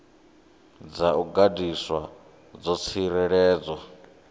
dza u gandiswa dzo tsireledzwa